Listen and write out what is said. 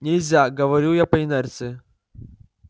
нельзя говорю я по инерции